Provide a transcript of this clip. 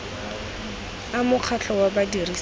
a mokgatlho wa badirisi ba